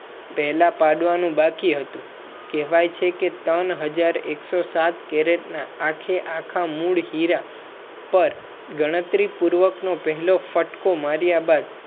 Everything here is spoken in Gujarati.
પેહલા પાડવાનું બાકી હતું કહેવાય છે કે ત્રાન હજર એકસો સાત કેરેટ ના આખેઆખાં મૂળ હેરા પાર ગણતરી પૂર્વક નો પહેલો ફટકો માર્યા બાદ